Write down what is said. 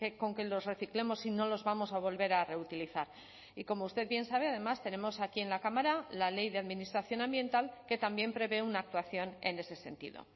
con que los reciclemos si no los vamos a volver a reutilizar y como usted bien sabe además tenemos aquí en la cámara la ley de administración ambiental que también prevé una actuación en ese sentido